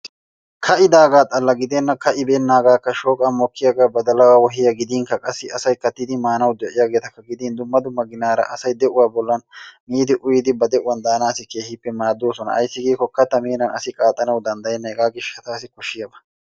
kaa'idaaga xalla gidenna, ka'ibeenagakka shooqan mokkiyaaga badalaa, wohiyaa qassi asay kattidi maanawu de'iyaageetakka gidin dumma dumma ginaara say de'uwaa bollan miidi uyyiidi ba de'uwan daanassi keehippe maaddoosna ayssi giiko kattaa meenan asi qaaxxanaw danddayena hega gishshatassi koshiyaaba.